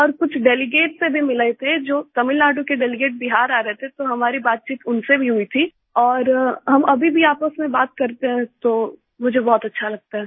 और कुछ डेलीगेट से भी मिले थे जो तमिलनाडु के डेलीगेट बिहार आ रहे थे तो हमारी बातचीत उनसे भी हुई थी और हम अभी भी आपस में बात करते हैं तो मुझे बहुत अच्छा लगता है